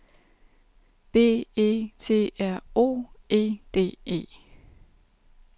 B E T R O E D E